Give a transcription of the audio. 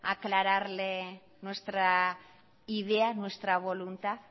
aclararle nuestra idea nuestra voluntad